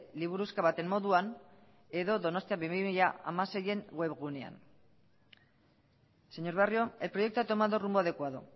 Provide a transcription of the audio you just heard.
liburuxka baten moduan edo donostia bi mila hamasein web gunean señor barrio el proyecto ha tomado rumbo adecuado